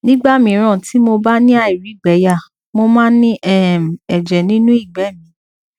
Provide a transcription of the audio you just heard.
nígbà míràn tí mo bá ni airigbeya mo máa ń ri um ẹjẹ nínú igbe mi